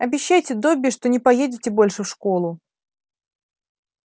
обещайте добби что не поедете больше в школу